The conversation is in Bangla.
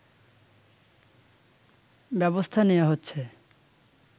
ব্যবস্থা নেয়া হচ্ছে